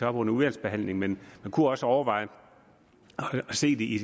op under udvalgsbehandlingen men man kunne også overveje at se det i